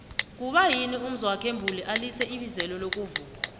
kuba yini umzwokhe mbuli alize ibizelo lokuvuma